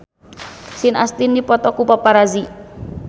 Sean Astin dipoto ku paparazi